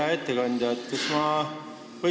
Hea ettekandja!